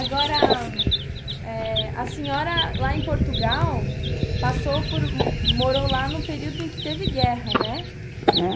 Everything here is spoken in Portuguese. Agora, eh, a senhora lá em Portugal, passou por, morou lá no período em que teve guerra, né?